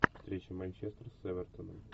встреча манчестер с эвертоном